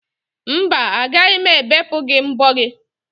Mba, agaghị m ebepụ gị mbo gị.